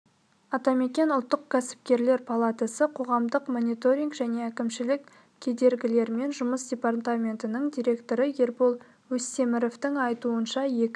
атамекен ұлттық кәсіпкерлер палатасы қоғамдық мониторинг және әкімшілік кедергілермен жұмыс департаментінің директоры ербол өстеміровтің айтуынша екі